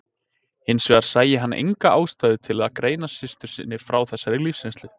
Hins vegar sæi hann enga ástæðu til að greina systur sinni frá þessari lífsreynslu.